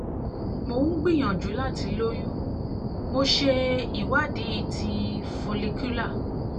mo ń gbìyànjú láti lóyún mo ṣe ìwádìí ti cs] follicular